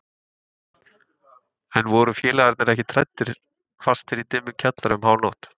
En voru félagarnir ekkert hræddir fastir í dimmum kjallara um hánótt?